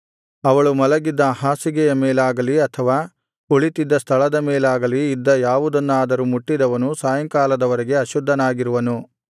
ಅವಳು ಮಲಗಿದ್ದ ಹಾಸಿಗೆಯ ಮೇಲಾಗಲಿ ಅಥವಾ ಕುಳಿತ್ತಿದ್ದ ಸ್ಥಳದ ಮೇಲಾಗಲಿ ಇದ್ದ ಯಾವುದನ್ನಾದರೂ ಮುಟ್ಟಿದವನು ಸಾಯಂಕಾಲದವರೆಗೆ ಅಶುದ್ಧನಾಗಿರುವನು